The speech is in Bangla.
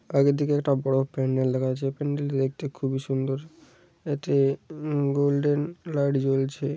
আগে দিকে একটা বড় প্যান্ডেল দেখা যাচ্ছে । প্যান্ডেলটি দেখতে খুবই সুন্দর। একটি গোল্ডেন লাইট জ্বলছে।